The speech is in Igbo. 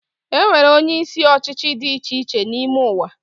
Enwere onyeisi ọchịchị dị icheiche n’ime ụwa